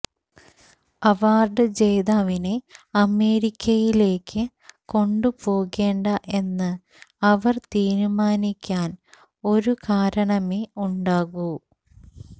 award ജേതാവിനെ അമേരിക്കയിലേക്ക് കൊണ്ടുപോകേണ്ട എന്ന് അവര് തീരുമാനിക്കാന് ഒരു കാരണമേ ഉണ്ടാകൂ